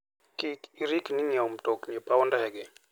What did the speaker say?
Kik irikni ng'iewo mtokni e paw ndege.